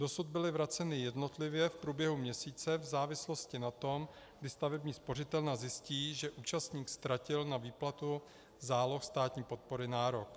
Dosud byly vraceny jednotlivě v průběhu měsíce v závislosti na tom, kdy stavební spořitelna zjistí, že účastník ztratil na výplatu záloh státní podpory nárok.